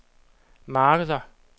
markeder